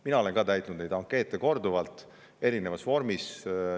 Mina olen ka täitnud neid ankeete korduvalt erinevas vormis.